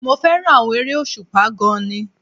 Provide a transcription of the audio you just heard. Mo fẹ́ràn àwọn eré òṣùpá gan-an ni